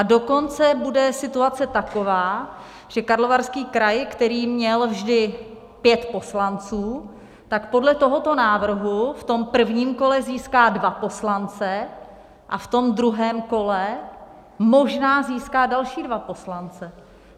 A dokonce bude situace taková, že Karlovarský kraj, který měl vždy pět poslanců, tak podle tohoto návrhu v tom prvním kole získá dva poslance a v tom druhém kole možná získá další dva poslance.